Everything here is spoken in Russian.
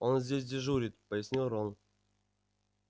он здесь дежурит пояснил рон